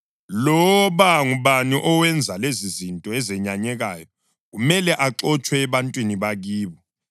Loba ngubani owenza lezizinto ezenyanyekayo, kumele axotshwe ebantwini bakibo.